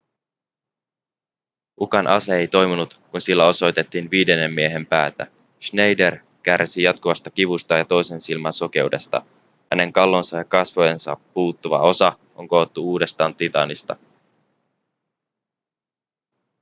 ukan ase ei toiminut kun sillä osoitettiin viidennen miehen päätä schneider kärsii jatkuvasta kivusta ja toisen silmän sokeudesta hänen kallonsa ja kasvojensa puuttuva osa on koottu uudestaan titaanista